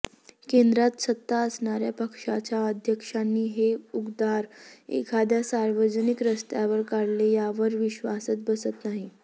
केंद्रात सत्ता असणाऱ्या पक्षाच्या अध्यक्षांनी हे उद्गार एखाद्या सार्वजनिक स्तरावर काढले यावर विश्वासच बसत नाही